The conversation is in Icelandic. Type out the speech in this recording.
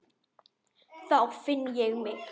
Þá finn ég mig.